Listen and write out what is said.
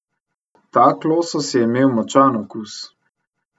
Tak losos je imel močan okus.